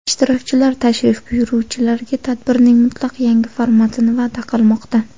Ishtirokchilar tashrif buyuruvchilarga tadbirning mutlaq yangi formatini va’da qilmoqda.